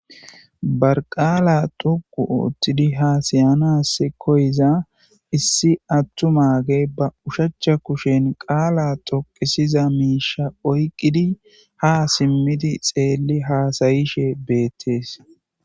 barqaala toqu oottidi haasayanas koyiza issi attu maage ba ushachcha kushen qaala toqisiza miisha oyqqidi ha simmidi xeelli haasayishe beettees